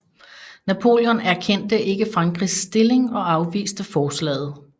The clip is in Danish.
Napoleon erkendte ikke Frankrigs stilling og afviste forslaget